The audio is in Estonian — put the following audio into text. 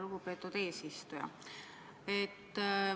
Lugupeetud eesistuja!